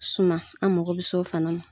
Suma an mako bɛ se o fana ma.